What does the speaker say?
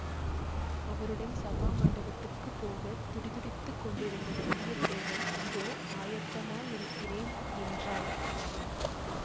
அவருடன் சபாமண்டபத்துக்குப் போகத் துடிதுடித்துக் கொண்டிருந்த வந்தியத்தேவன் இதோ ஆயத்தமாயிருக்கிறேன் என்றான்